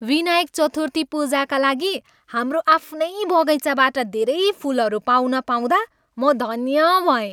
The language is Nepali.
विनायक चतुर्थी पूजाका लागि हाम्रो आफ्नै बगैँचाबाट धेरै फुलहरू पाउन पाउँदा म धन्य भएँ।